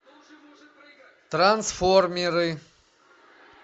трансформеры